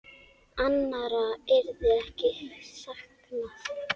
Annarra yrði ekki saknað.